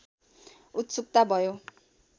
उत्सुकता भयो